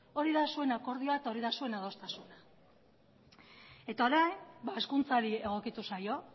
hori da zuen akordioa eta hori da zuen adostasuna eta orain hezkuntzari egokitu zaio